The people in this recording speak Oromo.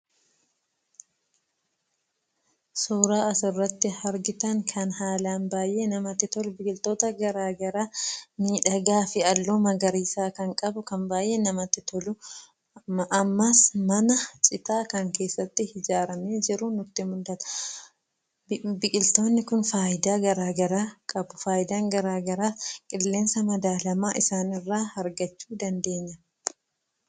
Suuraa asirratti argitan kan haalaan baay'ee namatti tolu biqiltoota garaagaraa miidhagaa fi halluu magariisa kan qabu kan baay'ee namatti tolu ammas mana citaa kan keessatti ijaaramee jiru nutti mul'ata. Biqiltoonni kun fayidaa garaagaraa qabu. Fayidaan garaagaraa qilleensa madaalamaa isaanirraa argachuu dandeenya.